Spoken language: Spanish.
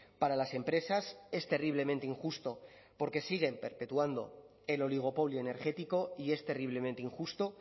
para las empresas es terriblemente injusto porque siguen perpetuando el oligopolio energético y es terriblemente injusto